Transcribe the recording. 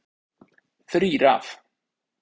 Þrír af